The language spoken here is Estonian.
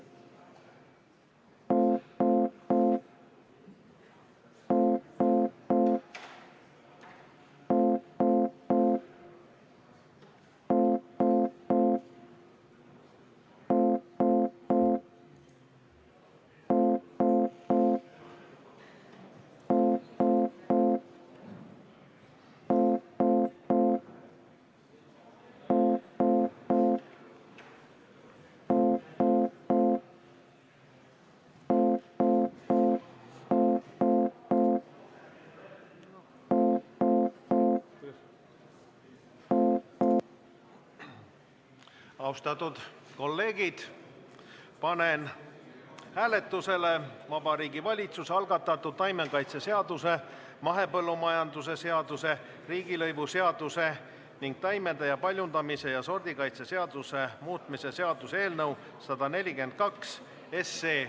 Austatud kolleegid, panen hääletusele Vabariigi Valitsuse algatatud taimekaitseseaduse, mahepõllumajanduse seaduse, riigilõivuseaduse ning taimede paljundamise ja sordikaitse seaduse muutmise seaduse eelnõu 142.